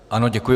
Ano, děkuji.